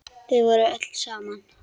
Þau voru öll saman.